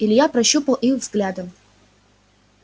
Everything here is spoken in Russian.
илья прощупал их взглядом